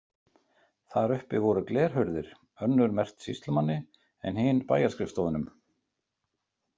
Þar uppi voru glerhurðir, önnur merkt sýslumanni en hin bæjarskrifstofunum.